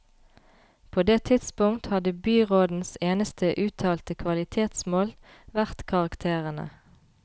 På det tidspunkt hadde byrådens eneste uttalte kvalitetsmål vært karakterene.